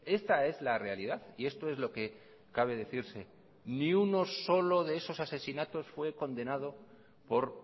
esta es la realidad y esto es lo que cabe decirse ni unos solo de esos asesinatos fue condenado por